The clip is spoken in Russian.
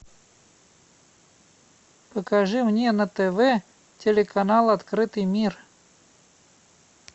покажи мне на тв телеканал открытый мир